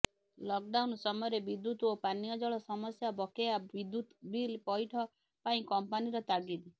lock down ସମୟରେ ବିଦ୍ୟୁତ୍ ଓ ପାନୀୟ ଜଳ ସମସ୍ୟା ବକେୟା ବିଦ୍ୟୁତ୍ ବିଲ୍ ପଇଠ ପାଇଁ କମ୍ପାନୀର ତାଗିଦ୍